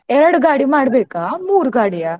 ಎರ್ಡ್ ಗಾಡಿ ಮಾಡ್ಬೇಕಾ? ಮೂರು ಗಾಡಿಯಾ?